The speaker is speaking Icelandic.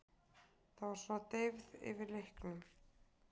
Það var svona deyfð yfir leiknum.